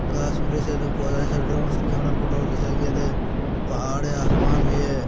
घास वीडियो चा पौधा से ड्रोन से कैमरा फोटो खिचाई गयले पहाड़ हैं आसमान भी हैं।